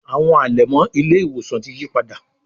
Àwọn alẹmọ ile-iwosan tí yípadà